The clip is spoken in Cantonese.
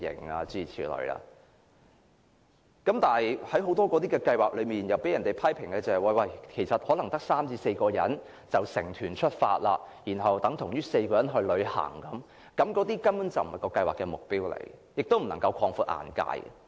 不過，類似的多項計劃卻被批評為只有3至4人參與便可成團，這等於4個人旅行，根本並非有關計劃的目標，亦無法讓參加者擴闊眼界。